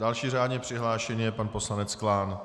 Další řádně přihlášený je pan poslanec Klán.